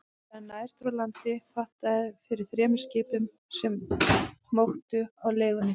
Þegar nær dró landi, hattaði fyrir þremur skipum, sem móktu á legunni.